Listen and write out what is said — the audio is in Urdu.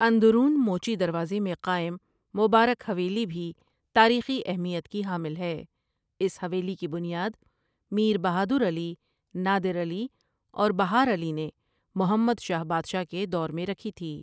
اندرون موچی دروازے میں قائم مبارک حویلی بھی تاریخی اہمیت کی حامل ہے اس حوایلی کی بنیاد میربہادر علی، نادر علی اور بہار علی نے محمد شاہ بادشاہ کے دور میں رکھی تھی ۔